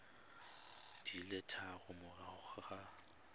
di le tharo morago ga